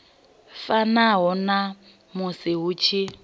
fanaho na musi hu tshi